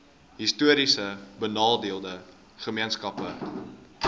histories benadeelde gemeenskappe